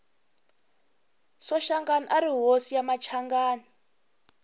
soshangani ari hosi ya machanganani